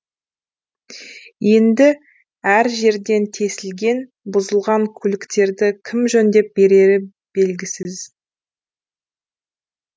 енді әр жерден тесілген бұзылған көліктерді кім жөндеп берері белгісіз